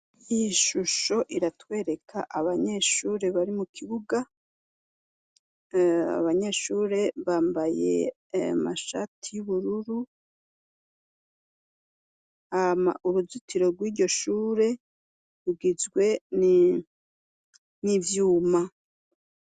Iyi shusho iratwereka abanyeshure bari mu kibuga, abanyeshure bambaye amashati y'ubururu, hama uruzitiro rw'iryo shure rugizwe n'ivyuma.